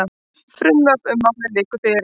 Frumvarp um málið liggur fyrir.